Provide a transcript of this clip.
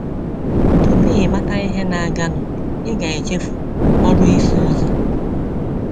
Tupu ị mata ihe na - aganụ, i ga-echefu ọrụ ịsụ ụzọ.